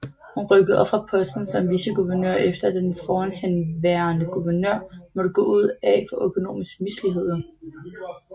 Hun rykkede op fra posten som viceguvernør efter at den forhenværende guvernør måtte gå af for økonomiske misligheder